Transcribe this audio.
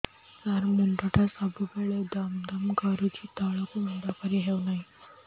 ସାର ମୁଣ୍ଡ ଟା ସବୁ ବେଳେ ଦମ ଦମ କରୁଛି ତଳକୁ ମୁଣ୍ଡ କରି ହେଉଛି ନାହିଁ